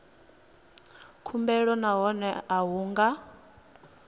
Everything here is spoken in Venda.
khumbelo nahone a hu nga